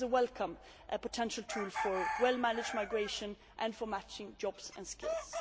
That is a welcome potential tool for well managed migration and for matching jobs and skills.